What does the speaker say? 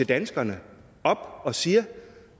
danskerne og siger